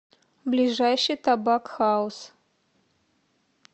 ближайший табак хаус